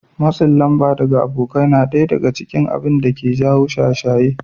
Matsin lamba daga abokai na ɗaya daga cikin abinda ke jawo shaye-shaye